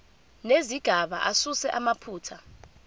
nezigaba asuse amaphutha